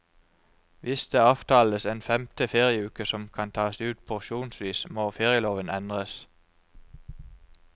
Hvis det avtales en femte ferieuke som kan tas ut porsjonsvis, må ferieloven endres.